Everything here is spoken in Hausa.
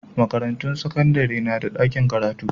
Makarantun sakandare na da ɗakin karatu.